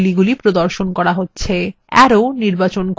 arrow নির্বাচন করুন